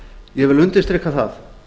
ég vil undirstrika það